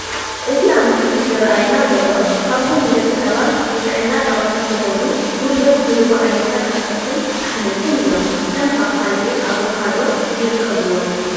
እቲ ኣብቲ ምስሊ ዝራኣየና ዘሎ ካብቶም ንደቂ ሰባት ንጥዕና ጠቐምቲ ዝኾኑን ጉልበት ዝህቡን ዓይነታት ኣትክልትን ኣሕምልትን እዮም፡፡ ከም ፓፓየን ኣቮካዶን ይርከብዎም፡፡